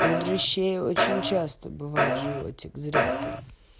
у дрыщей очень часто бывает животик зря ты